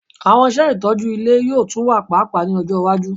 Awọn iṣẹ itọju ile yoo tun wa paapaa ni ọjọ iwaju